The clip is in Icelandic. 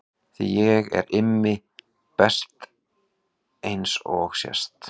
Því ég er Immi best eins og sést.